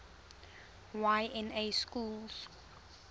y na schools